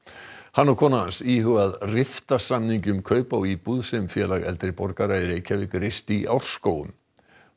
hann og kona hans íhuga að rifta samningi um kaup á íbúð sem Félag eldri borgara í Reykjavík reisti í Árskógum